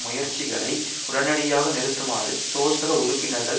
முயற்சிகளை உடனடியாக நிறுத்துமாறு சோசக உறுப்பினர்கள்